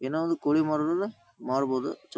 ಏನೋ ಒಂದು ಕೋಳಿ ಮಾರೋರ್ ಮಾರ್ಬಹುದು ಚುರ್ --